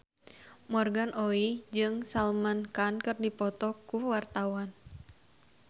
Morgan Oey jeung Salman Khan keur dipoto ku wartawan